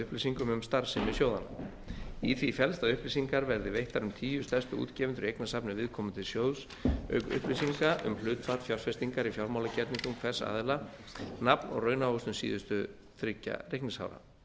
upplýsingum um starfsemi sjóðanna í því felst að upplýsingar verði veittar um tíu stærstu útgefendur í eignasafni viðkomandi sjóðs auk upplýsinga um hlutfall fjárfestingar í fjármálagerningum hvers aðila nafn og raunávöxtun síðustu þriggja reikningsára